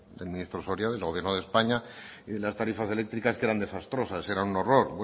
del ministro soria del gobierno de españa y de las tarifas eléctricas que eran desastrosas eran un horror